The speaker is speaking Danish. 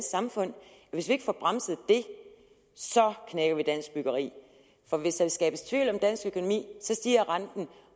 samfund og hvis vi ikke får bremset det knækker vi dansk byggeri og hvis der skabes tvivl om dansk økonomi stiger renten